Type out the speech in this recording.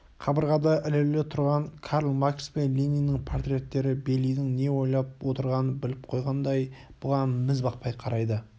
қабырғада ілулі тұрған карл маркс пен лениннің портреттері бейлидің не ойлап отырғанын біліп қойғандай бұған міз бақпай қарайды